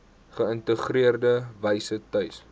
geïntegreerde wyse tuis